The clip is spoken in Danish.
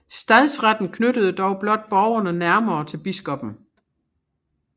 Stadsretten knyttede dog blot borgerne nærmere til biskoppen